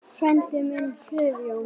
Frændi minn, Friðjón